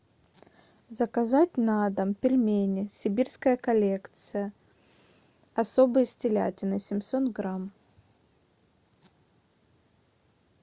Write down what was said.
заказать на дом пельмени сибирская коллекция особые с телятиной семьсот грамм